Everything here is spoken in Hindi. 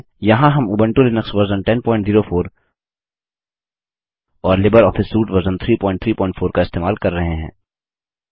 यहाँ हम उबंटू लिनक्स वर्जन 1004 और लिबर ऑफिस सूट वर्जन 334 इस्तेमाल कर रहे हैं